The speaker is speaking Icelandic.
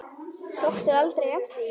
Tókstu aldrei eftir því?